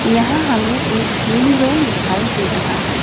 यहां हमें एक गेम जोन दिखाई दे रहा है।